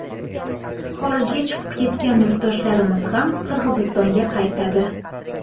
Xorijga chiqib ketgan yurtdoshlarimiz ham Qirg‘izistonga qaytadi.